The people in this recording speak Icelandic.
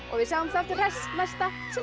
við sjáumst aftur hress næsta sunnudag